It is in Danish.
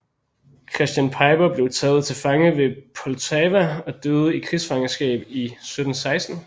Christian Piper blev taget til fange ved Poltava og døde i krigsfangenskab i 1716